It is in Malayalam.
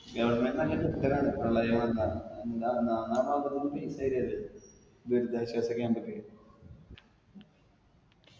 government ന് നല്ല കിട്ടലാണ് പ്രളയം വന്നാ ദുരിതാശ്വാസ camp ക്ക്